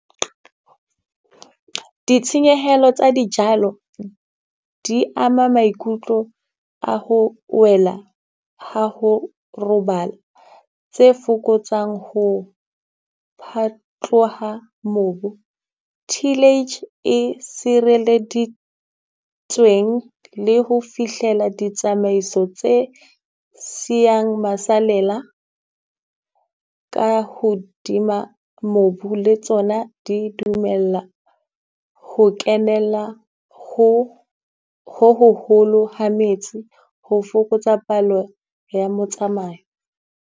Ditshenyehelo tsa dijalo di ama maikutlo a ho wela ha ho robala, tse fokotsang ho phatloha mobu. Tealage e sireleditsweng le ho fihlela ditsamaiso tse siyang masalela ka hodima mobu, le tsona di dumella ho kenela ho ho hoholo ha metsi ho fokotsa palo ya motsamai.